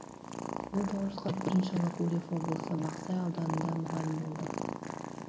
мың тоғыз жүз қырық бірінші жылы гурьев облысы бақсай ауданында мұғалім болды